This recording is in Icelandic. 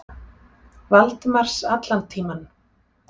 Valdimars allan tímann.